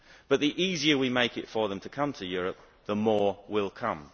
But the easier we make it for them to come to Europe, the more will come.